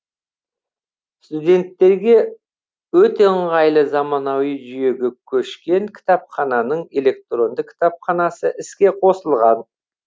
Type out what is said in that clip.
студенттерге өте ыңғайлы замануи жүйеге көшкен кітапхананың электронды кітапханасы іске қосылған